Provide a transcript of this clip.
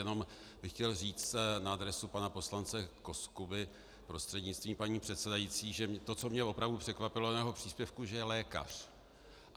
Jenom bych chtěl říct na adresu pana poslance Koskuby prostřednictvím paní předsedající, že to, co mě opravdu překvapilo u jeho příspěvku, že je lékař.